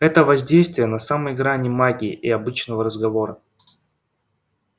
это воздействие на самой грани магии и обычного разговора